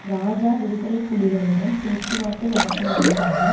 இராஜா விடுதலை புலிகளுடன் பேச்சுவார்த்தை நடத்துவதற்காக